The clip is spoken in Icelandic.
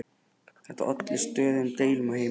Þetta olli stöðugum deilum á heimilinu.